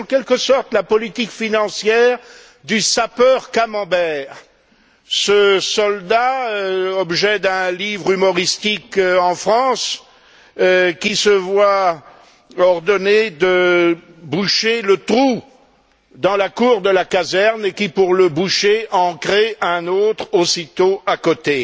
C'est en quelque sorte la politique financière du sapeur Camember, ce soldat, objet d'un livre humoristique en France, qui se voit ordonner de boucher le trou dans la cour de la caserne et qui, pour le boucher, en crée un autre aussitôt à côté.